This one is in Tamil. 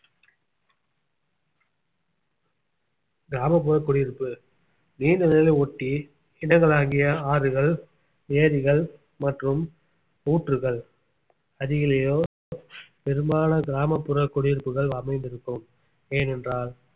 கிராமப்புற குடியிருப்பு நீர்நிலைகளை ஒட்டி இடங்களாகிய ஆறுகள் ஏரிகள் மற்றும் ஊற்றுகள் அருகிலேயோ பெரும்பாலான கிராமப்புற குடியிருப்புகள் அமைந்திருக்கும் ஏனென்றால்